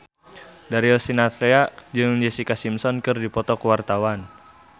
Darius Sinathrya jeung Jessica Simpson keur dipoto ku wartawan